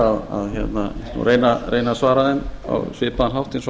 ég skal reyna að svara þeim á svipaðan hátt og